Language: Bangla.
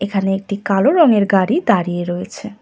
এখানে একটি কালো রঙের গাড়ি দাঁড়িয়ে রয়েছে।